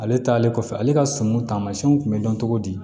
Ale taalen kɔfɛ ale ka sɔmi taamasiyɛnw kun bɛ dɔn cogo di